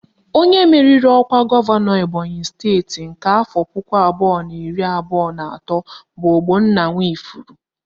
Onye meriri ọkwa gọvanọ Ebonyị steeti nke afọ puku abụọ na iri abụọ na atọ bụ Ogbonnaya Nwifuru